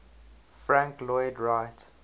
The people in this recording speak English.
frank lloyd wright